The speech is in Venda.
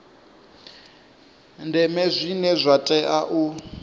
ndeme zwine zwa tea u